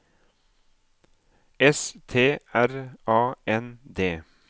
S T R A N D